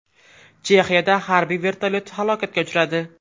Chexiyada harbiy vertolyot halokatga uchradi.